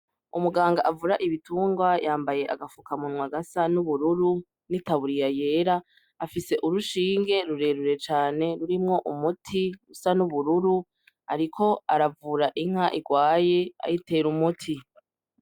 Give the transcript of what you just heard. Umuganga avura ibitungwa yambaye agafukamunwa gasa n' ubururu n' itaburiya yera afise urushinge rure rure cane rurimwo umuti usa n' ubururu ariko aravura inka igwaye ayitera umuti.